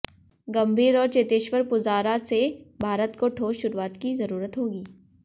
गंभीर और चेतेश्वर पुजारा से भारत को ठोस शुरुआत की जरूरत होगी